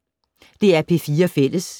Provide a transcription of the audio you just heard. DR P4 Fælles